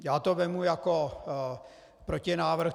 Já to vezmu jako protinávrh.